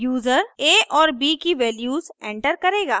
user a और b की values enter करेगा